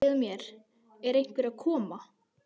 Segðu mér, er einhver að koma?